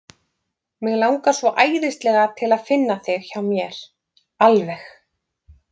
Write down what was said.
Mig langar svo æðislega til að finna þig hjá mér. alveg.